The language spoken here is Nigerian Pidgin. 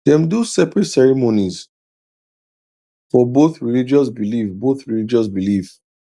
dem do separate ceremonies for both religious belief both religious belief